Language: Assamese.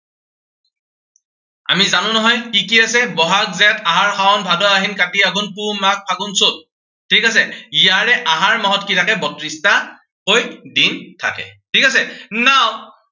আমি জানো নহয় কি কি আছে। বহাগ, জেঠ, আহাৰ, শাওণ, ভাদ আহিন, কাতি, আঘোণ, পুহ, মাঘ, ফাগুন চত। ঠিক আছে, ইয়াৰে আহাৰ মাহত কি আছে বত্ৰিশটা কৈ দিন থাকে, ঠিক আছে। now